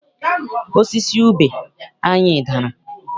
Osisi ube anyị dara.